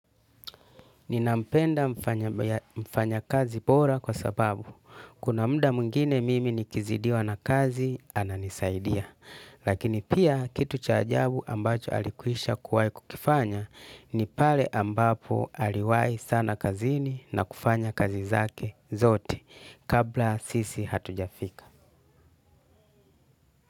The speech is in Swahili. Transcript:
Ninampenda mfanyakazi bora kwa sababu. Kuna mda mwingine mimi nikizidiwa na kazi ananisaidia. Lakini pia kitu cha ajabu ambacho alikuisha kuwai kukifanya ni pale ambapo aliwai sana kazini na kufanya kazi zake zote kabla sisi hatujafika.